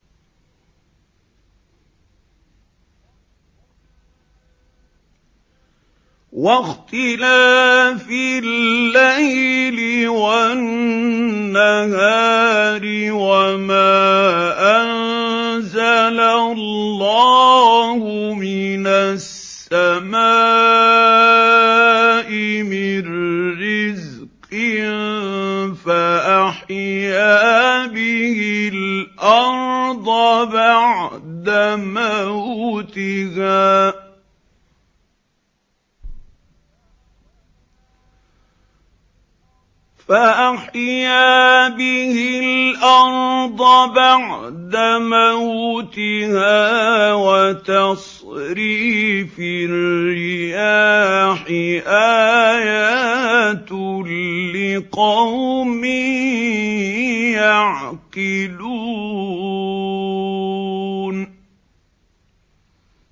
وَاخْتِلَافِ اللَّيْلِ وَالنَّهَارِ وَمَا أَنزَلَ اللَّهُ مِنَ السَّمَاءِ مِن رِّزْقٍ فَأَحْيَا بِهِ الْأَرْضَ بَعْدَ مَوْتِهَا وَتَصْرِيفِ الرِّيَاحِ آيَاتٌ لِّقَوْمٍ يَعْقِلُونَ